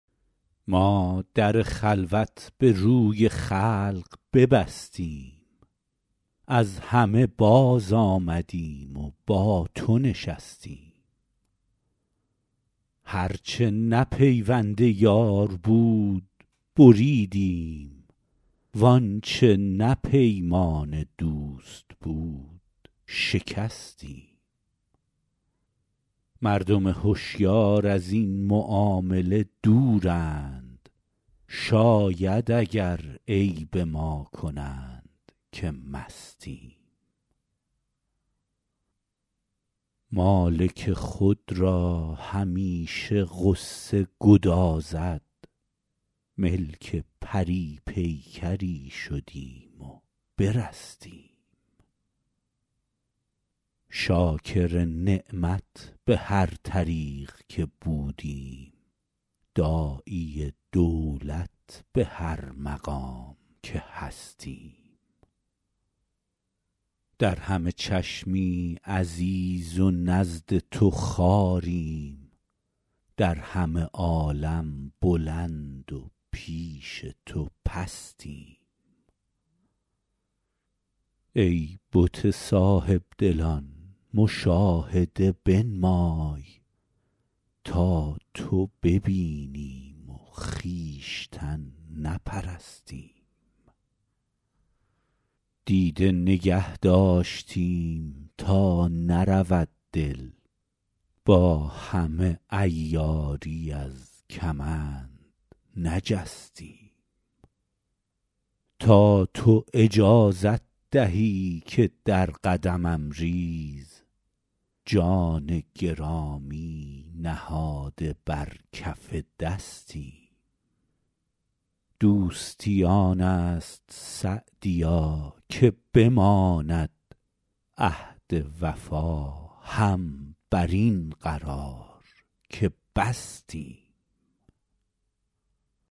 ما در خلوت به روی خلق ببستیم از همه بازآمدیم و با تو نشستیم هر چه نه پیوند یار بود بریدیم وآنچه نه پیمان دوست بود شکستیم مردم هشیار از این معامله دورند شاید اگر عیب ما کنند که مستیم مالک خود را همیشه غصه گدازد ملک پری پیکری شدیم و برستیم شاکر نعمت به هر طریق که بودیم داعی دولت به هر مقام که هستیم در همه چشمی عزیز و نزد تو خواریم در همه عالم بلند و پیش تو پستیم ای بت صاحب دلان مشاهده بنمای تا تو ببینیم و خویشتن نپرستیم دیده نگه داشتیم تا نرود دل با همه عیاری از کمند نجستیم تا تو اجازت دهی که در قدمم ریز جان گرامی نهاده بر کف دستیم دوستی آن است سعدیا که بماند عهد وفا هم بر این قرار که بستیم